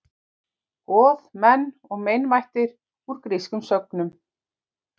Goð, menn og meinvættir: Úr grískum sögnum.